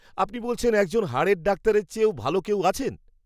আপনি বলছেন একজন হাড়ের ডাক্তারের চেয়েও ভাল কেউ আছেন?!